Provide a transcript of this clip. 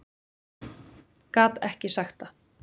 Gat ekki sagt það.